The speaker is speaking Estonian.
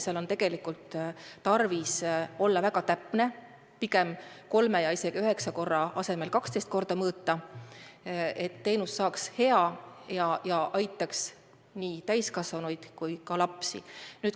Seal on tarvis olla väga täpne, kolme ja isegi üheksa korra asemel pigem 12 korda mõõta, et teenus saaks hea ja aitaks nii täiskasvanuid kui ka lapsi.